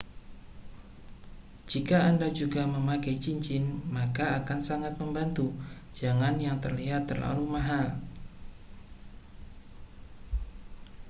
jika anda juga memakai cincin maka akan sangat membantu jangan yang terlihat terlalu mahal